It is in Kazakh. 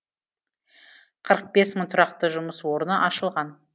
қырық бес мың тұрақты жұмыс орны ашылған